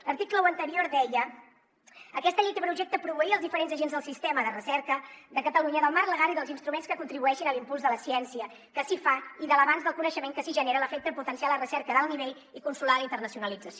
l’article un anterior deia aquesta llei té per objecte proveir els diferents agents del sistema de recerca de catalunya del marc legal i dels instruments que contribueixin a l’impuls de la ciència que s’hi fa i de l’avenç del coneixement que s’hi genera a l’efecte de potenciar la recerca d’alt nivell i consolidar la internacionalització